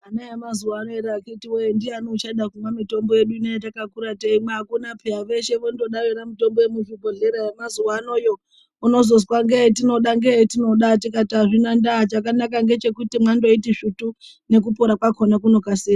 Ana emazuwano ere akhiti woye ndiani uchada kumwa mitombo yedu ino yatakakura teimwa akuna peya, veshe votoda yona mitombo yemuzvibhehleya yemazuwanoyo ,unozonzwa ndoyetinoda, ndoyetinoda ,tikati azvina ndaa chakanaka ndechekuti mwangoiti svutu, nekupora kwakhona kunokasira.